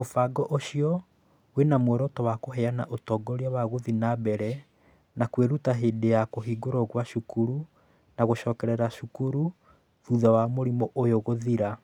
Mũbango ũcio wĩ na muoroto wa kũheana ũtongoria wa gũthiĩ na mbere na kwĩruta hĩndĩ ya kũhingwo kwa cukuru na gũcokerera cukuru thutha wa mũrimũ ũyũ gũthira.